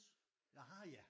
Ah ja